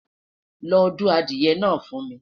lọ du adìye na fu mi